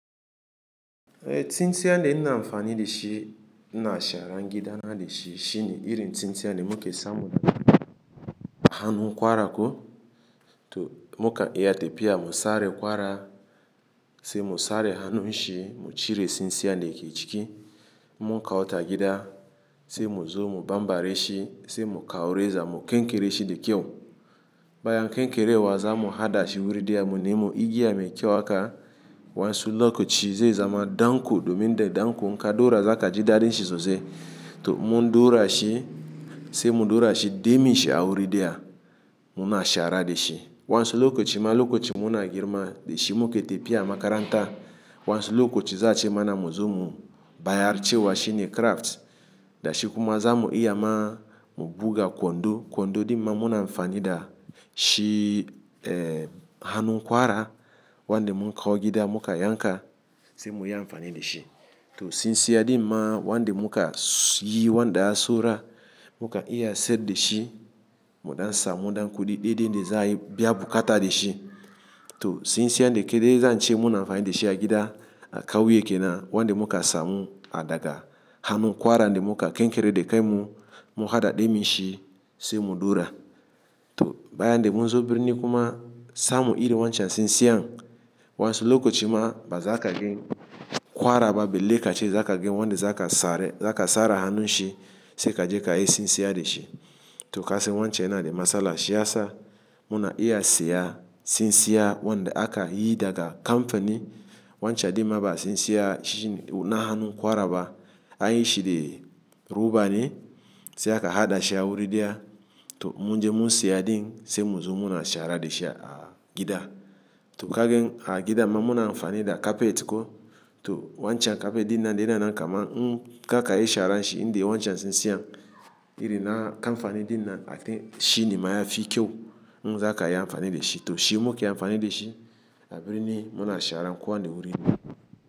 Eh tsintsiyan de na amfani da shi na shara gida na da shi shine irin tsintsiyan da muka samu hanu kwara ko to muka iya ta biya mu sare kwara sai mu sare hanun shi mu cire tsintsiyan da yake ciki mu kawo ta gida sai mu zo mu bambare shi sai mu kawo reza mu kenkere shi da kyau. Bayan kenkere wa za mu haɗa shi wurin daya mu nemi igiya mai kyau haka wansu lokaci zai zama danko domin dai danko in ka dora za ka ji dadin shi sosai. To in mun daura shi sai mun daura shi dai mai shi a wurin daya mu na shara da shi waensu lokaci ma lokacin mu na girma da shi muka tafiya makaranta wansu lokaci za a ce mana mu zo mu bayarce wa shine craft da shi kuma za mu iya ma mu buga kwando kwando dinnan mu na amfani da shi eh hanu kwara wanda mun kawo gida muka yanka sai mu yi amfani da shi. To tsintsiyan din ma wanda muka yi wanda ya soya muka iya siyar da shi muɗan samu ɗan kuɗi daidai da za'a biya bukata da shi. To tsintsiyan da ke dai zan ce mu na amfani da shi a gida a kauye kenan wanda muka samu a daga hanun kwara wanda muka kenkere da kai mu muka haɗa dai mai shi sai mu daura. To bayan dai mun zo birni kuma samu irin wancan tsintsiyan wansu lokaci ma ba za ka gan kwara ba balle kaciya za ka gan wanda za ka sare za ka sare hanun shi sai ka je ka yi tsintsiyan da shi. To kasan wancan yana da matsala shi ya sa mu na iya siya tsintsiyan wanda aka yi daga kamfani wancan dinnan ba tsintsiyan na hanu kwara ba an yi shi da roba ne sai aka haɗa shi a wurin daya to in mun je mun siya din sai mu zo mu na shara da shi a gida. To ka gan a gida man mu na amfani da kafet ko to wancan kafet dinnan dai na kamannin karkayi sharan shi in dai wancan tsintsiyan irin na kamfani dinnan shine ma ya fi kyau mun za ka iya amfani da shi. To shi muke amfani da shi a birni mu na shara ko wani wuri ne.